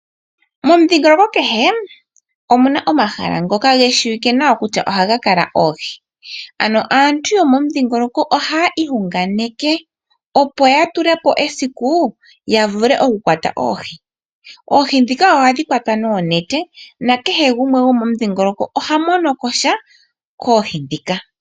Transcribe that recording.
Momudhingoloko kehe omuna omahala ngoka geshiwike nawa kutya ohaga kala oohi. Ano aantu ohaa iyunganeke opo yatulepo esiku yavule okuka kwata oohi. Oohi ohadhi kwatwa nuunete nakehe gumwe gomomudhingoloko oha mono kosha koohi ndhika.